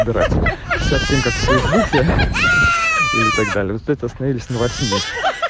играть пятьдесят семь как в фейсбуке или так далее вот это остановились на восьми